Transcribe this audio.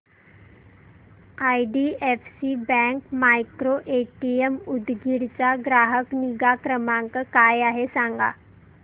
IDFC bank micro ATM Udgir चा ग्राहक निगा क्रमांक काय आहे सांगा